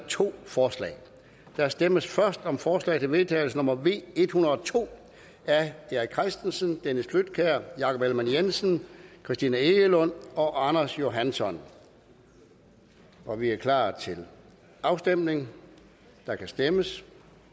to forslag der stemmes først om forslag til vedtagelse nummer v en hundrede og to af erik christensen dennis flydtkjær jakob ellemann jensen christina egelund og anders johansson og vi er klar til afstemning der kan stemmes